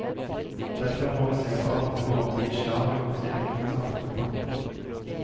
Derfor må vi se på andre måter islam gjorde seg gjeldende i samfunnet på.